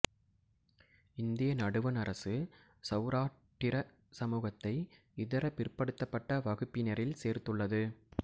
இந்திய நடுவண் அரசு சௌராட்டிர சமூகத்தை இதர பிற்படுத்தப்பட்ட வகுப்பினரில் சேர்த்துள்ளது